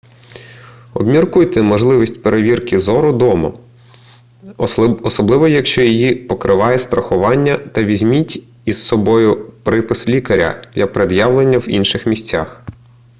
обміркуйте можливість перевірки зору вдома особливо якщо її покриває страхування та візьміть із собою припис лікаря для пред'явлення в інших місцях